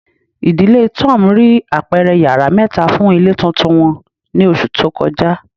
Idile Tom rii apẹrẹ yara mẹta fun ile tuntun wọn ni oṣu to kọja